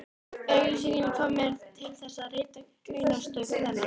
Auglýsingin kom mér til þess, að rita greinarstúf þennan.